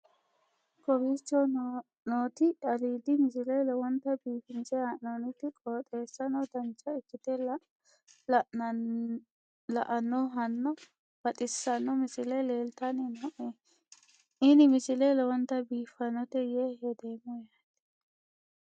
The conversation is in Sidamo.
kowicho nooti aliidi misile lowonta biifinse haa'noonniti qooxeessano dancha ikkite la'annohano baxissanno misile leeltanni nooe ini misile lowonta biifffinnote yee hedeemmo yaate